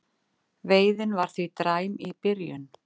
Veiðin var því dræm í byrjun